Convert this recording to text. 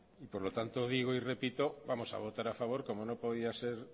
y por lo tanto digo y repito vamos a votar a favor como no podía ser